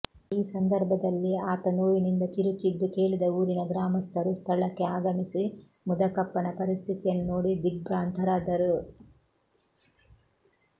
ಈ ಸಂದರ್ಭದಲ್ಲಿ ಆತ ನೋವಿನಿಂದ ಕಿರುಚಿದ್ದು ಕೇಳಿದ ಊರಿನ ಗ್ರಾಮಸ್ಥರು ಸ್ಥಳಕ್ಕೆ ಆಗಮಿಸಿ ಮುದಕಪ್ಪನ ಪರಿಸ್ಥಿತಿಯನ್ನು ನೋಡಿ ದಿಗ್ಭ್ರ್ರಾಂತರಾದರು